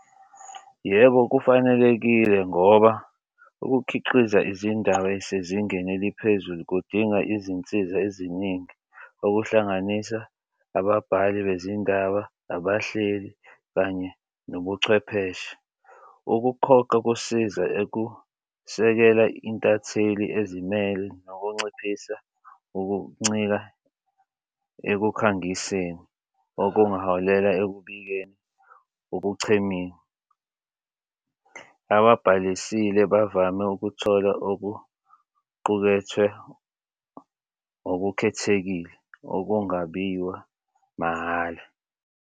Yebo, kufanelekile ngoba ukukhiqiza izindaba esezingeni eliphezulu kudinga izinsiza eziningi okuhlanganisa ababhali bezindaba, abahleli kanye nobuchwepheshe. Ukuphoqa kusiza sekela intatheli ezimele nokunciphisa ukuncika ekukhangiseni okungaholela ekubikeni ukuchemile. Ababhalisile bavame ukuthola okuqukethwe okukhethekile okungabiwa mahhala.